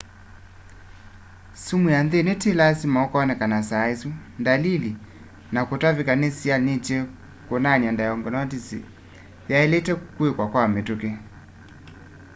sumu ya nthini ti lasima ukoneka saa isu dalili ta kutavika ni sianyite kunania diagnosis yailite kwikwa kwa mituki